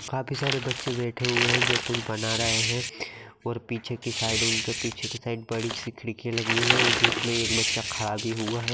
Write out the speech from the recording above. काफी सारे बच्चे बैठे हुए हैं जो कुछ बना रहे हैं और पीछे की साइड उनके पीछे की साइड बड़ी सी खिड़की लगी हुई है जिसमे एक बच्चा खड़ा भी हुआ है।